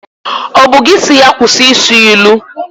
Ọ bụ gị si ya kwụsị ị sụ ilu?